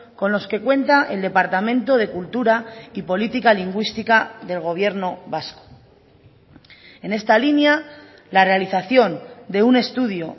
con los que cuenta el departamento de cultura y política lingüística del gobierno vasco en esta línea la realización de un estudio